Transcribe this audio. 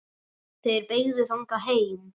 Þeir beygðu þangað heim.